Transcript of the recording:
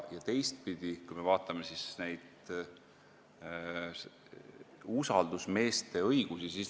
Teistpidi, vaatame usaldusmeeste õigusi.